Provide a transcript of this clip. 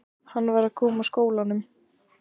Hann var að koma úr skólanum.